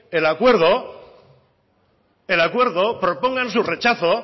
el acuerdo propongan su rechazo